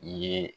I ye